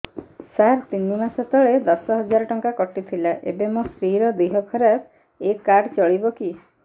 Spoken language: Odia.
ସାର ତିନି ମାସ ତଳେ ଦଶ ହଜାର ଟଙ୍କା କଟି ଥିଲା ଏବେ ମୋ ସ୍ତ୍ରୀ ର ଦିହ ଖରାପ ଏ କାର୍ଡ ଚଳିବକି